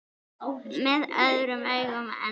Með öðrum augum en hans.